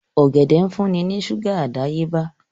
Ọ̀gẹ̀dẹ̀ ń fún ní ṣúgà àdáyébá